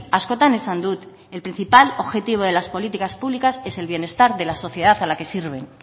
askotan esan dut el principal objetivo de las políticas públicas es el bienestar de la sociedad a la que sirven